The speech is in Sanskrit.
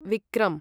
विक्रम्